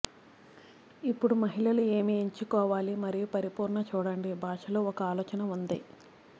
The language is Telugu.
ఇప్పుడు మహిళలు ఏమి ఎంచుకోవాలి మరియు పరిపూర్ణ చూడండి భాషలు ఒక ఆలోచన ఉంది